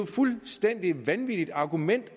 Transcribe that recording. fuldstændig vanvittigt argument